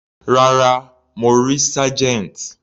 Rárá, mo rí Sergeant.